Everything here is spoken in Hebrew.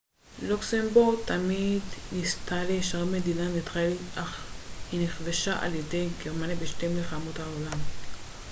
לוקסמבורג תמיד ניסתה להישאר מדינה ניטרלית אך היא נכבשה על ידי גרמניה בשתי מלחמות העולם